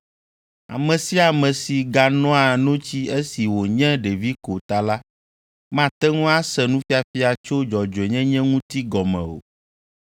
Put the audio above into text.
Ame sia ame si ganoa notsi esi wònye ɖevi ko ta la, mate ŋu ase nufiafia tso dzɔdzɔenyenye ŋuti gɔme o.